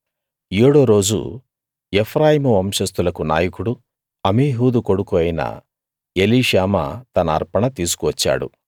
ఏడో రోజు ఎఫ్రాయిము వంశస్తులకు నాయకుడూ అమీహూదు కొడుకూ అయిన ఎలీషామా తన అర్పణ తీసుకువచ్చాడు